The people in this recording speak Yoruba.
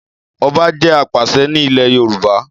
Ọba jẹ́ apàṣẹ ni ile Yoruba